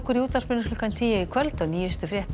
í útvarpinu klukkan tíu í kvöld og nýjustu fréttir